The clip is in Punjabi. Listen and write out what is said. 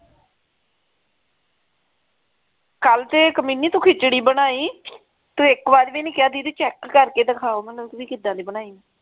ਕੱਲ ਤੇ ਕਮੀਨੀ ਤੂੰ ਇਕ ਖਿਚੜੀ ਬਣਾਈ ਤੂੰ ਇਕ ਵਾਰ ਵੀ ਨਹੀਂ ਕਿਹਾ ਦੀਦੀ check ਕਰਕੇ ਦਿਖਾਓ ਮਨੁ ਦੀਦੀ ਕਿੱਦਾਂ ਦੀ ਬਣਾਈ ਏ